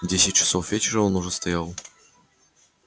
в десять часов вечера он уже стоял